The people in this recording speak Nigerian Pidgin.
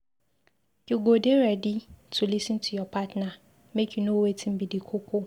you go dey ready to lis ten to your partner make you know wetin be di koko.